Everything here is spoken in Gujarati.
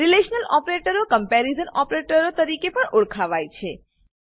રીલેશનલ ઓપરેટરો કંપેરીઝન ઓપરેટરો તરીકે પણ ઓળખાવાય છે